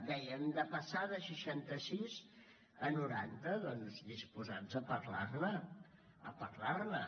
deien de passar de seixanta sis a noranta doncs disposats a parlar ne a parlar ne